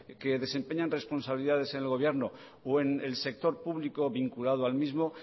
que desempeñan responsabilidades en el gobierno o en el sector público vinculado al mismo